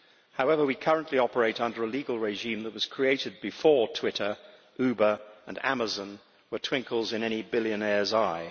However, we currently operate under a legal regime that was created before Twitter, Uber and Amazon were twinkles in any billionaire's eye.